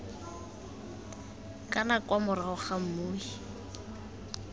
kana kwa morago ga mmui